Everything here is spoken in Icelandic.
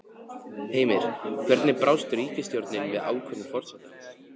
Heimir, hvernig brást ríkisstjórnin við ákvörðun forsetans?